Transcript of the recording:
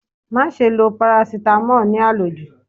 Má ṣe lọ parasítámọ̀ ní àlòjù.